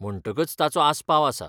म्हणटकच ताचो आस्पाव आसा.